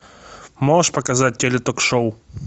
можешь показать теле ток шоу